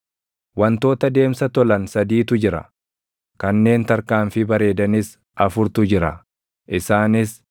“Wantoota deemsa tolan sadiitu jira; kanneen tarkaanfii bareedanis afurtu jira; isaanis: